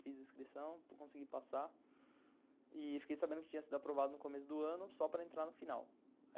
Fiz inscrição, consegui passar e fiquei sabendo que tinha sido aprovado no começo do ano só para entrar no final.